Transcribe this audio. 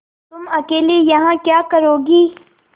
तुम अकेली यहाँ क्या करोगी